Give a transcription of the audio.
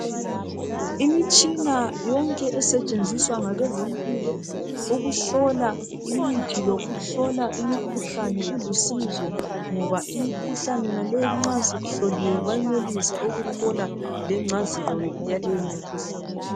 imitshina yonke esetshenziswa ngabezempilo ukuhlola imithi lokuhlola imikhuhlane ilusizo ngoba imikhuhlane yonale nxa isihloliwe bayenelisa ukuthola lengcazelo yaleyo mikhuhlane